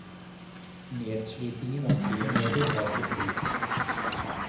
Nedslitningen av friområder har sin pris.